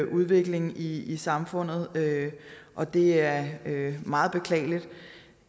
udvikling i i samfundet og det er meget beklageligt